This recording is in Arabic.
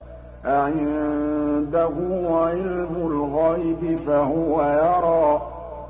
أَعِندَهُ عِلْمُ الْغَيْبِ فَهُوَ يَرَىٰ